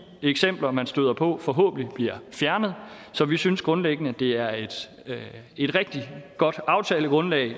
eksempler man støder på forhåbentlig bliver fjernet så vi synes grundlæggende at det er et rigtig godt aftalegrundlag